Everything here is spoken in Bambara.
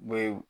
Be